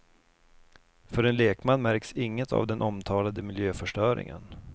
För en lekman märks inget av den omtalade miljöförstöringen.